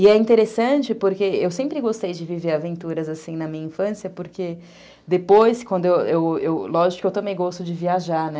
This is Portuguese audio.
E é interessante porque eu sempre gostei de viver aventuras assim na minha infância, porque depois, eu eu eu, lógico que eu também gosto de viajar, né?